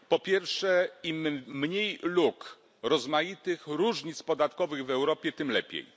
Po pierwsze, im mniej luk, rozmaitych różnic podatkowych w Europie, tym lepiej.